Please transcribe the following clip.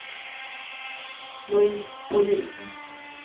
Louise Bohlin